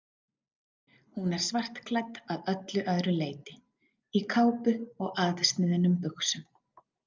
Hún er svartklædd að öllu öðru leyti, í kápu og aðsniðnum buxum.